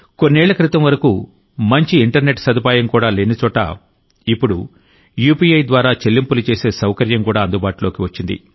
కొన్నేళ్ల క్రితం వరకు మంచి ఇంటర్నెట్ సదుపాయం కూడా లేని చోట ఇప్పుడు యూపీఐ ద్వారా చెల్లింపులు చేసే సౌకర్యం కూడా అందుబాటులోకి వచ్చింది